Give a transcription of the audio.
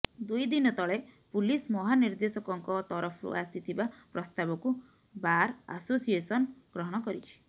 ଦୁଇ ଦିନ ତଳେ ପୁଲିସ ମହାନିର୍ଦ୍ଦେଶକଙ୍କ ତରଫରୁ ଆସିଥିବା ପ୍ରସ୍ତାବକୁ ବାର୍ ଆସୋସିଏସନ୍ ଗ୍ରହଣ କରିଛି